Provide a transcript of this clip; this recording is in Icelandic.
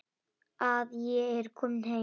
Að ég er komin heim.